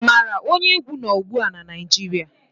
Ị maara onye egwu nọ́ ugbu a na Naịjirịa?